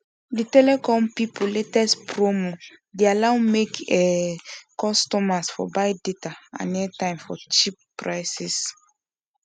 de telecom pipu latest promo dey allow make um customers for buy data and aitime for cheap prices